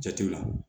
Jate la